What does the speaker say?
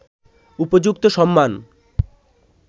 উপযুক্ত সম্মান